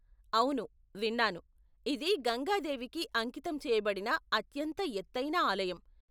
అవును విన్నాను, ఇది గంగా దేవికి అంకితం చేయబడిన అత్యంత ఎత్తైన ఆలయం.